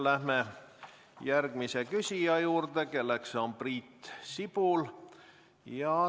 Läheme järgmise küsija juurde, kelleks on Priit Sibul.